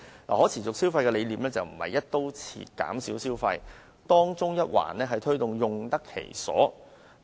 可持續消費的概念不是"一刀切"減少消費，而是提倡用得其所。